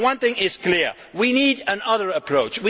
So one thing is clear we need another approach.